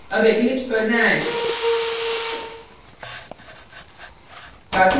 अब eclipse पर जाएँ